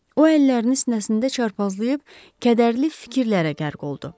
O əllərini sinəsində çarpazlayıb, kədərli fikirlərə qərq oldu.